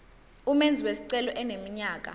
umenzi wesicelo eneminyaka